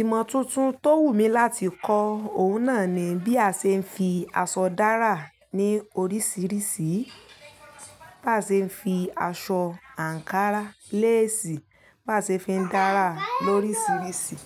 Ìmọ̀ tuntun tó wù mí láti kọ́, òun náà ni bí a ṣe ń fi aṣọ dára ní oríṣiríṣi, bá ṣe ń fi aṣọ àǹkárá, leesi bá ṣe ń fi dára lorisirisi.